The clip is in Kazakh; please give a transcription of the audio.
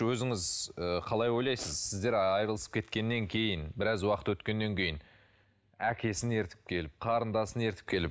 өзіңіз ы қалай ойлайсыз сіздер айырылысып кеткеннен кейін біраз уақыт өткеннен кейін әкесін ертіп келіп қарындасын ертіп келіп